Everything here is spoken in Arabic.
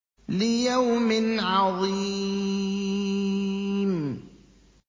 لِيَوْمٍ عَظِيمٍ